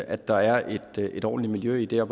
at der er et ordentligt miljø der